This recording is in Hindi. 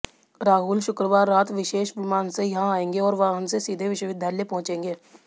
राहुल शुक्रवार रात विशेष विमान से यहां आएंगे और वाहन से सीधे विश्वविद्यालय पहुंचेंगे